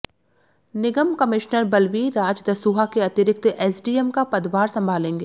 निगम commissioner Balbir Raj Dasuya के अतिरिक्त SDM का पदभार संभालेंगे